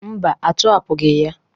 Mba, atọhapụgị ya.